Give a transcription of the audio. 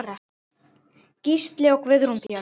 Gísli og Guðrún Björg.